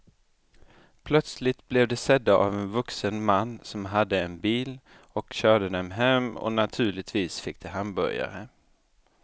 Plötsligt blev de sedda av en vuxen man som hade en bil och körde dem hem och naturligtvis fick de hamburgare.